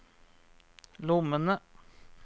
lommene